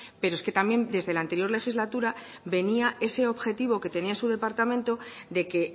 pero es que también desde la anterior legislatura venía ese objetivo que tenía su departamento de que